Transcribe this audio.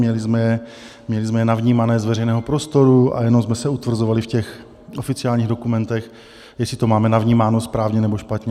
Měli jsme je navnímané z veřejného prostoru a jenom jsme se utvrzovali v těch oficiálních dokumentech, jestli to máme navnímáno správně, nebo špatně.